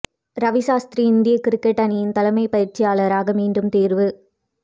ரவி சாஸ்திரி இந்திய கிரிக்கெட் அணியின் தலைமை பயிற்சியாளராக மீண்டும் தேர்வு